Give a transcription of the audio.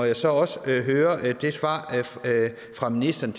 jeg så også hørte det svar fra ministeren